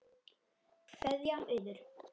Kveðja, Auður.